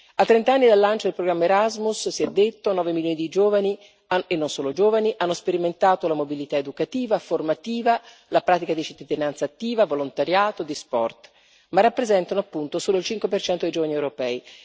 A trent'anni dal lancio del programma Erasmus, si è detto, nove milioni di giovani, e non solo giovani, hanno sperimentato la mobilità educativa, formativa, la pratica di cittadinanza attiva, di volontariato, di sport ma rappresentano, appunto, solo il 5 dei giovani europei.